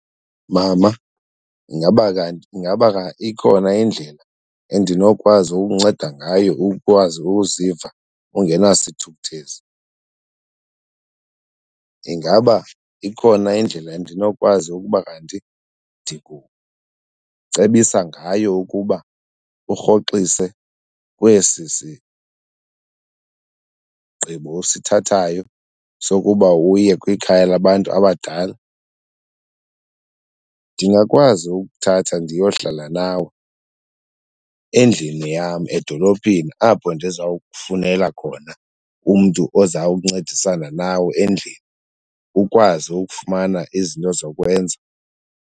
Mama, ingaba kanti, ingaba ikhona indlela endinokwazi ukunceda ngayo ukwazi ukuziva ungenasithukuthezi? Ingaba ikhona indlela endinokwazi ukuba kanti ndikucebisa ngayo ukuba urhoxise kwesi sisigqibo usithathayo sokuba uye kwikhaya labantu abadala? Ndingakwazi ukuthatha ndiyohlala nawe endlini yam edolophini apho ndizawukufunela khona umntu ozawuncedisana nawe endlini ukwazi ukufumana izinto zokwenza.